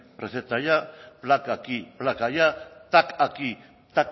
receta allá placa aquí placa allá tac aquí